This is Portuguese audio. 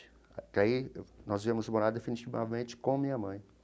Até aí nós viemos morar definitivamente com a minha mãe.